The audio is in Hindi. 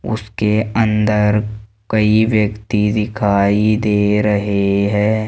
उसके अंदर कई व्यक्ति दिखाई दे रहे हैं।